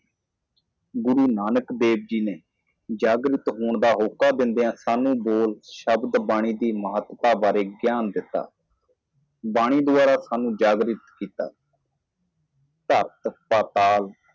ਗੁਰੂ ਨਾਨਕ ਦੇਵ ਜੀ ਦਾ ਜਾਗਣਾ ਹੋਕਾ ਦਿੰਦੇ ਹੋਏ ਸਾਨੂੰ ਦੱਸੋ ਬੋਲੇ ਗਏ ਸ਼ਬਦ ਦੀ ਮਹੱਤਤਾ ਬਾਰੇ ਚਾਨਣਾ ਪਾਇਆ ਆਵਾਜ਼ ਦੁਆਰਾ ਸਾਨੂੰ ਜਗਾਇਆ ਤਰਕ ਪਤਲਾ